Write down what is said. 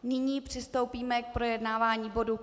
Nyní přistoupíme k projednávání bodu